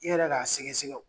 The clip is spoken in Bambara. I yɛrɛ k'a sɛgɛ sɛgɛ o.